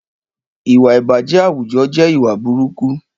Ìwà ìbàjẹ́ àwùjọ jẹ́ ìwà burúkú